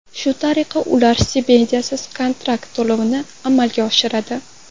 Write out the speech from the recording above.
Shu tariqa ular stipendiyasiz kontrakt to‘lovini amalga oshiradi.